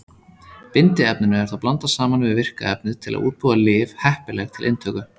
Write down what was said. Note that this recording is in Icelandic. Bindiefninu er þá blandað saman við virka efnið til að útbúa lyf heppileg til inntöku.